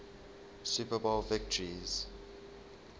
super bowl victories